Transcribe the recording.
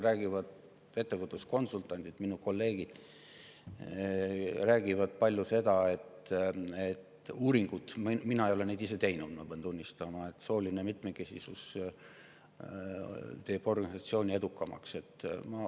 Ettevõtluskonsultandid, minu kolleegid, räägivad, et uuringud näitavad – ma pean tunnistama, et mina ise ei ole neid teinud –, et sooline mitmekesisus muudab organisatsiooni edukamaks.